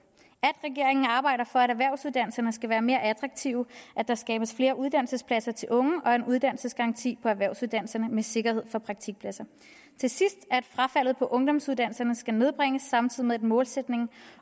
at regeringen arbejder for at erhvervsuddannelserne skal være mere attraktive at der skabes flere uddannelsespladser til unge og en uddannelsesgaranti på erhvervsuddannelser med sikkerhed for praktikpladser at frafaldet på ungdomsuddannelserne skal nedbringes samtidig med at målsætningen